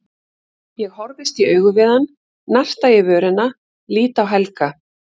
Ég horfist í augu við hann, narta í vörina, lít á Helga.